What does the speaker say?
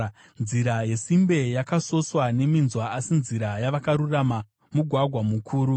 Nzira yesimbe yakasoswa neminzwa, asi nzira yavakarurama mugwagwa mukuru.